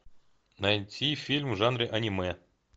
найти фильм в жанре аниме